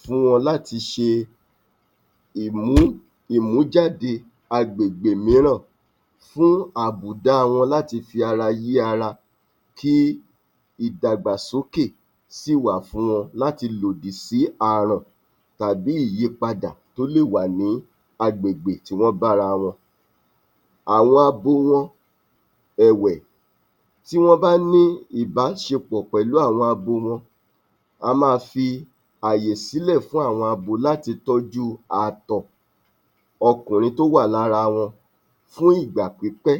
fún wọn láti ṣe um ìmújáde agbègbè mìíràn fún àbùda wọn láti fi ara yí ara kí ìdàgbàsókè sì wà fún wọn láti lòdì sí arọ̀n tàbí ìyípadà tó lè wà ní agbègbè tí wọ́n bá ara wọn. Àwọn abo wọn ẹ̀wẹ̀, tí wọ́n bá ní ìbáṣepọ̀ pẹ̀lú àwọn abo wọn a máa fi ayè sílẹ̀ fún àwọn abo láti tọ́jú àtọ̀ ọkùnrin tó wà lára wọn fún ìgbà pípẹ́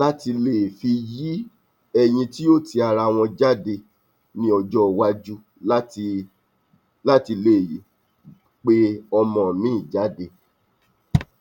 láti lè fi yi ẹyin tí ó ti ara wọn jáde ní ọjọ́ ìwájú láti lè yè pe ọmọ mìí jáde.